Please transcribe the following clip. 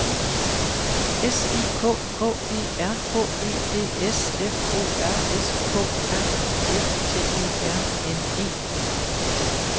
S I K K E R H E D S F O R S K R I F T E R N E